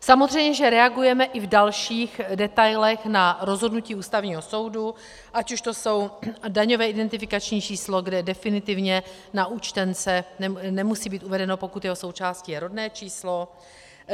Samozřejmě že reagujeme i v dalších detailech na rozhodnutí Ústavního soudu, ať už to je daňové identifikační číslo, kde definitivně na účtence nemusí být uvedeno, pokud jeho součástí je rodné číslo.